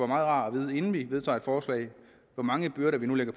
meget rart at vide inden vi vedtager et forslag hvor mange byrder vi nu